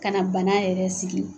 Ka na bana yɛrɛ sigi